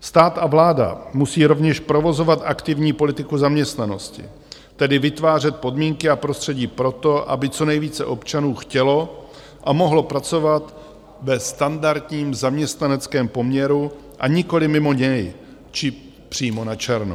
Stát a vláda musí rovněž provozovat aktivní politiku zaměstnanosti, tedy vytvářet podmínky a prostředí pro to, aby co nejvíce občanů chtělo a mohlo pracovat ve standardním zaměstnaneckém poměru, a nikoliv mimo něj, či přímo načerno.